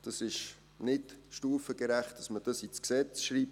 Es ist nicht stufengerecht, dies ins Gesetz zu schreiben.